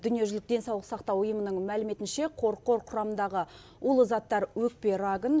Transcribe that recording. дүниежүзілік денсаулық сақтау ұйымының мәліметінше қорқор құрамындағы улы заттар өкпе рагын